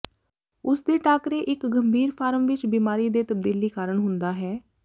ਉਸ ਦੇ ਟਾਕਰੇ ਇੱਕ ਗੰਭੀਰ ਫਾਰਮ ਵਿੱਚ ਬਿਮਾਰੀ ਦੇ ਤਬਦੀਲੀ ਕਾਰਨ ਹੁੰਦਾ ਹੈ